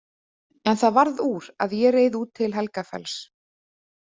En það varð úr að ég reið út til Helgafells.